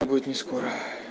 будет нескоро